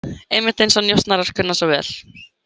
Einmitt eins og njósnarar kunna svo vel.